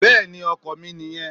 Bẹ́ẹ̀ni ọkò mi nì yen